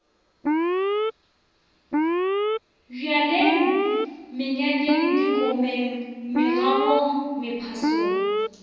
bjalweng menyanyeng dikomeng megobong mephasong